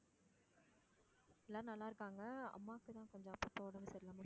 எல்லா நல்லா இருக்காங்க. அம்மாக்கு தான் கொஞ்சம் அப்பப்போ உடம்பு சரி இல்ல.